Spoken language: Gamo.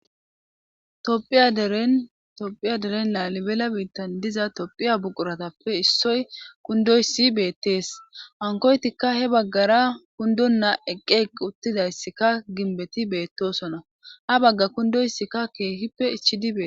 Thiyadeentophiya deren laalibela biittan diza tophiya buquratappe issoy kundoysi beettees hankoytikka he baggara kundon naa eqqeeq uttidayssikka ginbeti beettosona ha bagga kundoyssikka keehippe ichi dibee